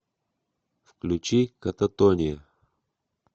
включи кататония